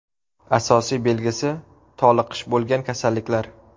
Asosiy belgisi toliqish bo‘lgan kasalliklar.